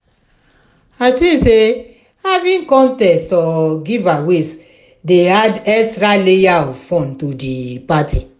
i think say having contests or giveaways dey add extra layer of fun to di party.